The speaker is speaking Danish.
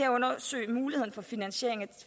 undersøge muligheden for finansiering